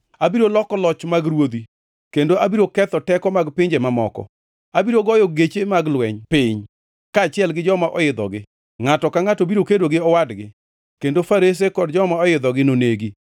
Abiro loko loch mag ruodhi; kendo abiro ketho teko mag pinje mamoko, abiro goyo geche mag lweny piny, kaachiel gi joma oidhogi. Ngʼato ka ngʼato biro kedo gi owadgi, kendo farese kod joma oidhogi nonegi.